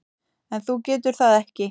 En þú getur það ekki.